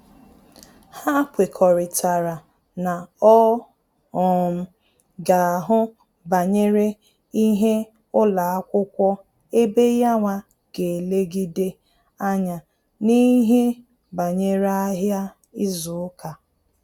Ha kwekọrịtara na ọ um ga ahụ banyere ihe ụlọakwụkwọ ebe yawa ga elegide anya n'ihe banyere ahịa izu uka